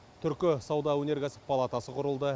түркі сауда өнеркәсіп палатасы құрылды